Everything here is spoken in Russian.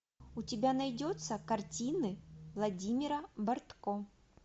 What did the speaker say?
у тебя найдется картины владимира бортко